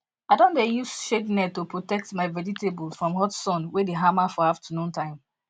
i don dey use shade net to protect my vegetables from hot sun wey the hammer for afternoon time